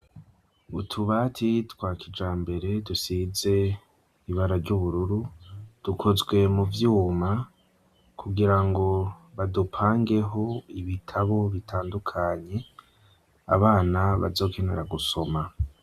Umuryango wuguruye ukozwe mu cuma ufise ibara ry'ubururu ukaba uri ko impapuro biboneka yuko zakataguritse zanditsekoigiti giri c'abanyeshuri n'amazina yabo.